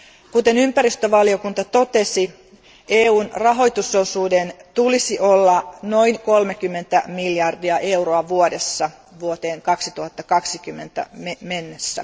Kuten ympäristövaliokunta totesi, EUn rahoitusosuuden olisi oltava noin 30 miljardia euroa vuodessa vuoteen 2020 mennessä.